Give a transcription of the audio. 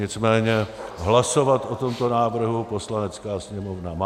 Nicméně hlasovat o tomto návrhu Poslanecká sněmovna má.